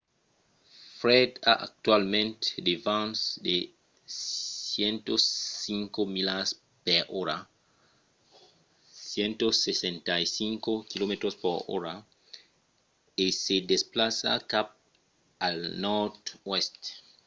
fred a actualament de vents de 105 milas per ora 165 km/h e se desplaça cap al nòrd-oèst